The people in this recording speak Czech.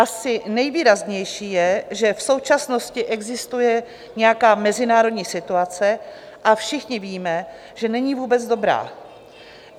Asi nejvýraznější je, že v současnosti existuje nějaká mezinárodní situace, a všichni víme, že není vůbec dobrá.